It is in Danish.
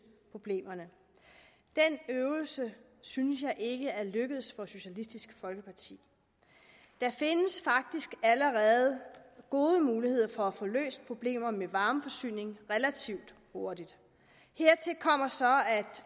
problemerne den øvelse synes jeg ikke er lykkedes for socialistisk folkeparti der findes faktisk allerede gode muligheder for at få løst problemer med varmeforsyning relativt hurtigt hertil kommer så at